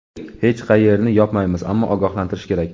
Hech qayerni yopmaymiz, ammo ogohlantirish kerak.